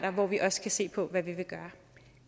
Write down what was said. og hvor vi også kan se på hvad vi